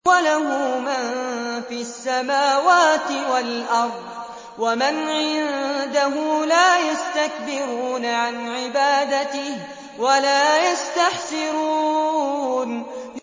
وَلَهُ مَن فِي السَّمَاوَاتِ وَالْأَرْضِ ۚ وَمَنْ عِندَهُ لَا يَسْتَكْبِرُونَ عَنْ عِبَادَتِهِ وَلَا يَسْتَحْسِرُونَ